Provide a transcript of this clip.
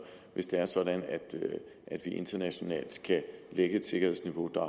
hvis det er sådan at vi internationalt kan lægge et sikkerhedsniveau der